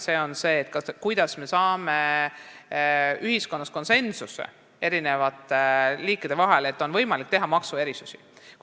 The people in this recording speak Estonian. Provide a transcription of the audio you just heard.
Seal on see probleem, kuidas saavutada ühiskonnas konsensus, et oleks võimalik teha ka maksuerisusi.